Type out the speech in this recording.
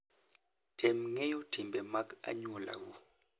Tem ng'eyo timbe mag anyuolau.